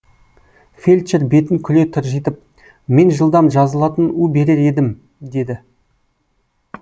фельдшер бетін күле тыржитып мен жылдам жазылатын у берер едім деді